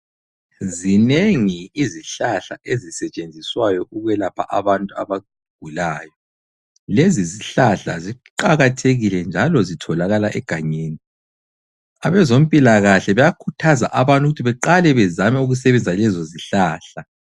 Zinengi izihlahla ezisetshenziswayo ukwelapha abantu abagulayo. Lezi zihlahla ziqakathekile njalo zitholakala egangeni. Abezompilakahle bayakhuthaza abantu ukuthi beqale bezame ukusebenzisa lezo zihlahla.